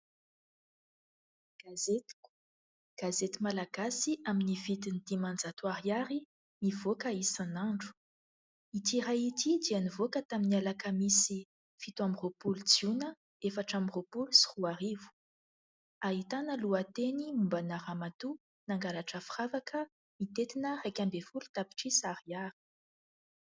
"Gazetiko", gazety malagasy amin'ny vidiny dimanjato ariary, mivoaka isan'andro. Ity iray ity dia nivoaka tamin'ny alakamisy fito amby roapolo jona efatra amby roapolo sy roa arivo. Ahitana lohateny momba ana-ramatoa nangalatra firavaka mitentina iraika ambin'ny folo tapitrisa ariary.